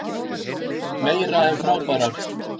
Meira en frábærar.